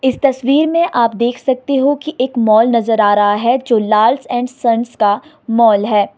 इस तस्वीर में आप देख सकते होकि एक मॉल नजर आ रहा है जो लाल्स एण्ड संस का मॉल है।